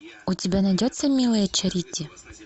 у тебя найдется милая чарити